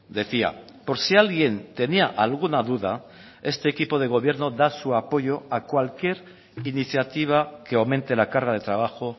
decía por si alguien tenía alguna duda este equipo de gobierno da su apoyo a cualquier iniciativa que aumente la carga de trabajo